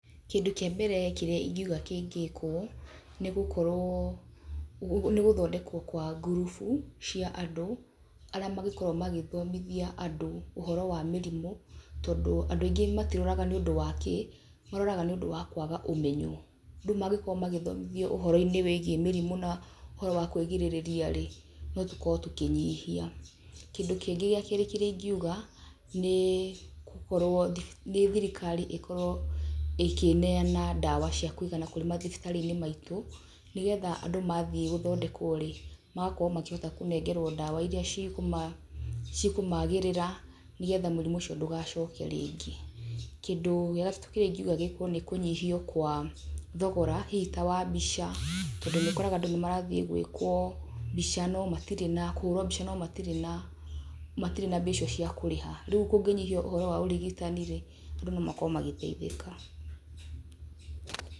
Kĩndũ kĩambere kĩrĩa ingiuga kĩngĩkwo nĩ gũkorwo, nĩ gũthondekwo kwa ngurubu cia andũ arĩa marĩkoragwo magĩthomithia andũ ũhoro wa mĩrimũ tondũ andũ aĩngĩ matirwaraga nĩũndũ wa kĩĩ, marwaraga nĩũndũ wa kwaga ũmenyo. Rĩu mangĩkorwo magĩthomithio ũhoro-inĩ wĩgiĩ mĩrimu na uhoro wa kwĩgirĩrĩria rĩ, no tũkorwo tũkĩnyihia. Kĩndũ kĩngĩ gĩa kerĩ kĩrĩa ingiuga nĩ gũkorwo, nĩ thirikari ĩkorwo ĩkineana ndawa cia kũĩgana kũrĩ mathibitarĩ-inĩ maitu, nĩgetha andũ mathiĩ gũthondekworĩ, magakorwo makĩhota kũnengerwo dawa irĩa cikũ cikũ-magĩrĩra nĩgetha mũrimũ ũcio ndũgacoke rĩngĩ. Kĩndũ gIa gatatũ, kĩrĩa ingiuga gĩkwo nĩ kũnyihio kwa thogora, hihi ta wa mbica, tondũ nĩũkoraga andũ nĩ marathiĩ gwĩkwo mbica no matirĩ na, kũhũrwo mbica no matirĩ na mbia icio cia kũriha. Rĩũ kũngĩnyihio ũhoro wa urigitani rĩ, andũ no makorwo magĩteithika.